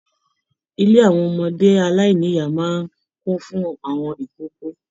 Ilé àwọn ọmọdé aláìníya máa n kún fún àwọn ìkókó.